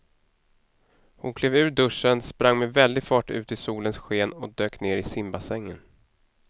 Hon klev ur duschen, sprang med väldig fart ut i solens sken och dök ner i simbassängen.